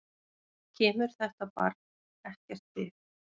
Kemur þetta barn ekkert við.